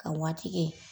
Ka waati kɛ